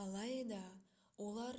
алайда олар